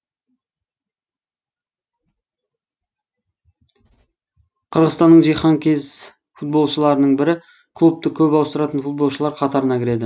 қырғызстанның жиһанкез футболшыларының бірі клубты көп ауыстыратын футболшылар қатарына кіреді